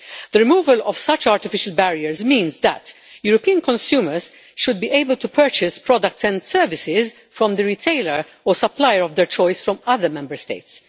The removal of such artificial barriers means that European consumers should be able to purchase products and services from the retailer or supplier of their choice from other Member States.